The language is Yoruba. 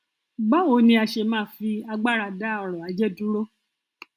báwo ni a ṣe máa fi agbára dá ọrọ ajé dúró